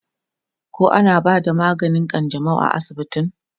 koh ana bada maganin kanjamau a asibitin?